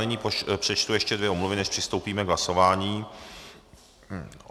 Nyní přečtu ještě dvě omluvy, než přistoupíme k hlasování.